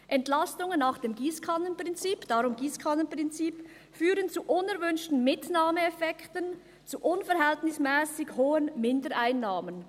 Entlastungen nach dem ‹Giesskannen-Prinzip›», darum Giesskannenprinzip, «führen zu unerwünschten ‹Mitnahmeeffekten›, zu unverhältnismässig hohen Mindereinnahmen.